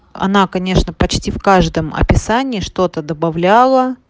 она конечно почти в каждом описании что-то добавляла